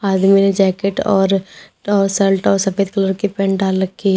आदमी ने जैकेट और शर्ट और सफेद कलर की पेंट डाल रखी--